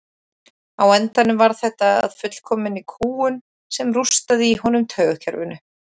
Á endanum varð þetta að fullkominni kúgun sem rústaði í honum taugakerfinu.